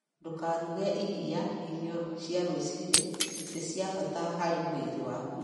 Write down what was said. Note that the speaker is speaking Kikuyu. Ndũkaruge irĩa irio cia rũcinĩ; nĩ cia bata harĩ mwĩrĩ waku.